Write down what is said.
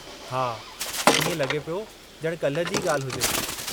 हा, इएं लॻे पियो ॼण काल्हि जी ई ॻाल्हि हुजे।